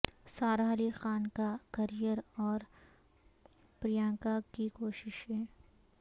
سارہ علی خان کا کریئر اور پرینکا کی کوششیں